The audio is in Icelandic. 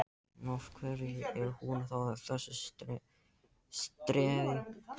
En, af hverju er hún þá að þessu streði?